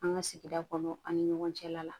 An ka sigi kɔnɔ an ni ɲɔgɔn cɛla la